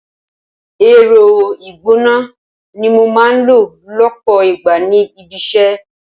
Ẹ̀rọ ìgbóná ni mo máa ń lò lọpọ ìgbà ní ibi-isẹ.